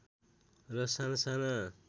र साना साना